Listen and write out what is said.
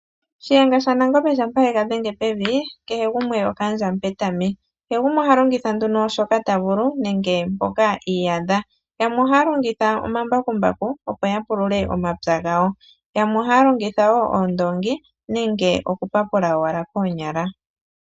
Shiyenga shaNangombe shampa ye ga dhenge pevi, kehe gumwe okaandja Mupetami. Kehe gumwe oha longitha nduno shoka ta vulu, nenge mpoka i iyadha. Yamwe ohaya longitha omambakumbaku, opo ya pulule omapya gawo. Yamwe ohaya longitha wo oondoongi, nenge okupapula owala koonyala.